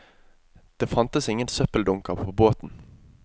Det fantes ingen søppeldunker på båten.